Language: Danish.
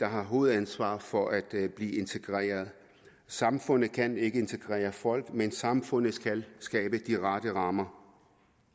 har hovedansvaret for at blive integreret samfundet kan ikke integrere folk men samfundet skal skabe de rette rammer